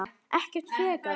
Ekkert frekar.